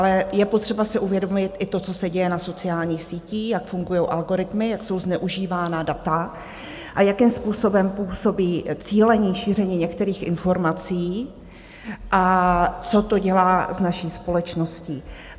Ale je potřeba si uvědomit i to, co se děje na sociálních sítích, jak fungují algoritmy, jak jsou zneužívána data a jakým způsobem působí cílené šíření některých informací a co to dělá s naší společností.